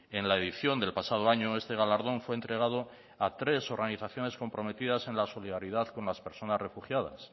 en la edición del pasado año este galardón fue entregado a tres organizaciones comprometidas en la solidaridad con las personas refugiadas